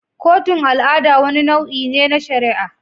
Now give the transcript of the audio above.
Kotun al'ada wani nau'i ne na shari'a.